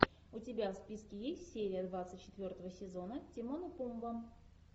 у тебя в списке есть серия двадцать четвертого сезона тимон и пумба